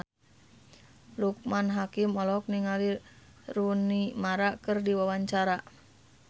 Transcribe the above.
Loekman Hakim olohok ningali Rooney Mara keur diwawancara